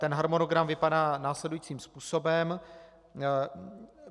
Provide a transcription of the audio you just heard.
Ten harmonogram vypadá následujícím způsobem.